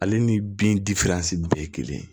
Ale ni bin bɛɛ ye kelen ye